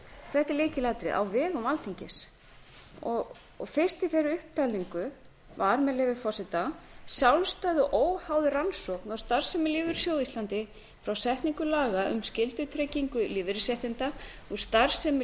þetta er lykilatriði á vegum alþingis fyrst í þeirri upptalningu var með leyfi forseta sjálfstæð og óháð rannsókn á starfsemi lífeyrissjóða á íslandi frá setningu laga um skyldutryggingu lífeyrisréttinda og starfsemi